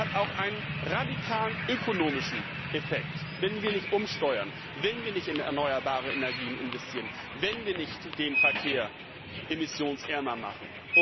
Es hat auch einen radikalen ökonomischen Effekt, wenn wir nicht umsteuern, wenn wir nicht in erneuerbare Energien investieren, wenn wir nicht den Verkehr emissionsärmer machen.